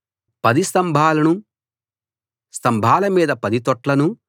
10 స్తంభాలనూ స్తంభాల మీద 10 తొట్లనూ